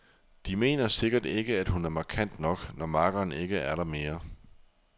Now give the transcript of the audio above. De mener sikkert ikke, at hun er markant nok, når makkeren ikke er der mere.